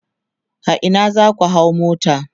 a Ina zaku hau mota?